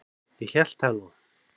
Ég hélt það nú!